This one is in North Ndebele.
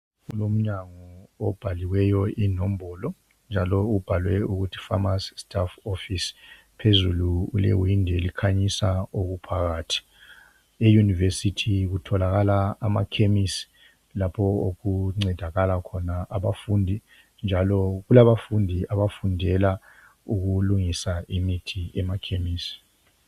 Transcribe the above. Kulomnyango obhaliweyo inombolo njalo ubhaliwe ukuthi famasi sitafu ofisi njalo phezulu ulewindi elikhanyisa okuphakhathi. Eyunivesiti kutholakala amakemisi lapho okuncedakala khona abafundi njalo kulabafundi abafundela ukulungisa imithi emakemisi.